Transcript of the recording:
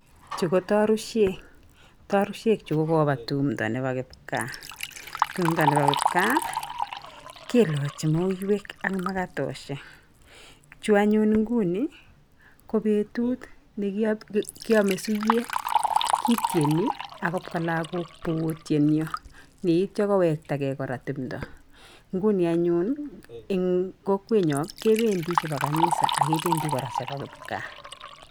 Chu ko tarusiek tarusiek chu ko koba tumdo nebo kipkaa. Tumdo nebo kipkaa kelaji muiwek ak makatosiek. Chu anyun nguni ko betut ne kiamei suiyet kitieni akopka lagook bo kotieni yeityo kowektagei kora tumdo. Nguni anyun eng kokwenyon kebendi chebo kanisa ak gebendii kora chebo kipkaa.